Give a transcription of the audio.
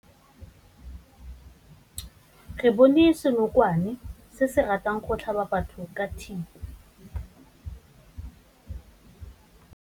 Re bone senokwane se se ratang go tlhaba batho ka thipa.